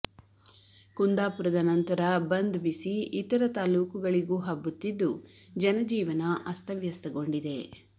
ಕುಂದಾಪುರದ ನಂತರ ಬಂದ್ ಬಿಸಿ ಇತರ ತಾಲೂಕುಗಳಿಗೂ ಹಬ್ಬುತ್ತಿದ್ದು ಜನ ಜೀವನ ಅಸ್ತವ್ಯಸ್ತಗೊಂಡಿದೆ